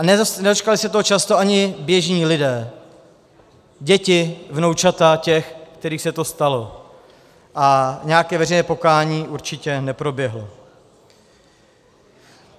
A nedočkali se toho často ani běžní lidé, děti, vnoučata těch, kterým se to stalo, a nějaké veřejné pokání určitě neproběhlo.